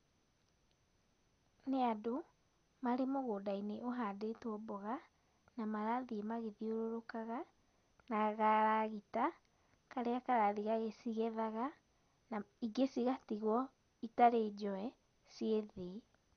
Nĩ andũ, marĩ mũgũnda-inĩ ũhanditwo mboga, na marathiĩ magĩthiũrũrũkaga na garagita, karĩa karathiĩ gagĩcigethaga, na ingĩ cigatigwo citarĩ njoe, ciĩ thĩ.